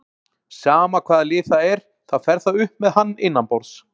Sama hvaða lið það er, þá fer það upp með hann innanborðs.